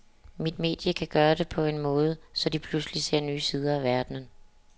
Mit medie kan gøre det på en måde, så de pludselig ser nye sider af verdenen.